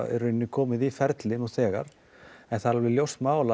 í rauninni komið í ferli nú þegar en það er alveg ljóst mál